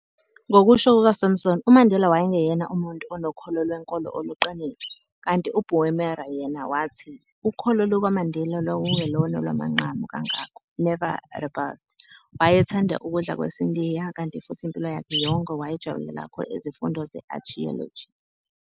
Ngokusho kuka-Sampson, uMandela wayengeyena umuntu onokholo lwenkolo oluqinile, kanti uBoemer yena wathi, ukholo lukaMandela lwalungelona olwamagqanqu kangako , "never robust". Wayethanda ukudla kwesiNdiya, kanti futhi impilo yakhe yonke wayejabulela kakhulu izifundo ze-archaeology.